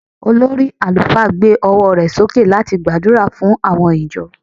olórí alufa gbe ọwọ rẹ soke lati gbàdúrà fún àwọn ìjọ